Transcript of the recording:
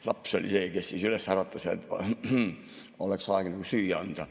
Laps oli see, kes üles äratas, et oleks aeg nagu süüa anda.